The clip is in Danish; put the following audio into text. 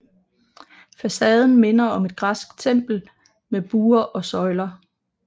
Facaden minder om et græsk tempel med buer og søjler